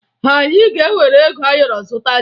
Anyị ga-ewere ego ayọrọ zụta ji